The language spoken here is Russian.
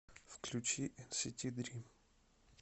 включи энсити дрим